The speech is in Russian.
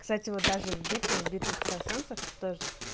кстати вот даже в битве в битве экстрасенсов тоже